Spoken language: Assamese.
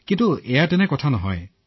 দৰাচলতে এনে নহয়